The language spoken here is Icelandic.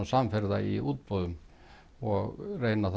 samferða í útboðum og reyna